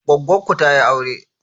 Goggon ku tayi aure?